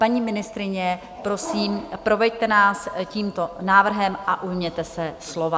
Paní ministryně, prosím, proveďte nás tímto návrhem a ujměte se slova.